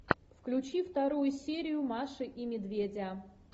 включи вторую серию маши и медведя